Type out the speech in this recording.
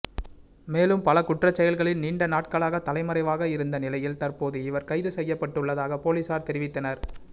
மேலும் பல குற்றச்செயல்களில் நீண்டநாட்களாக தலைமறைவாக இருந்த நிலையில் தற்போது இவர் கைது செய்யப்பட்டுள்ளதாக பொலிஸார் தெரிவித்தனர்